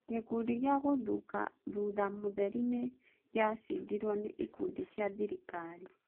Gĩkundi kĩa Ngũthũka thutha mũtheri nĩ gĩa cindirwo nĩ ikundi cia thirĩkarĩ.